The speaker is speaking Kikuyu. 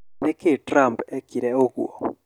Nĩkĩĩ Trump ekire ũgũo?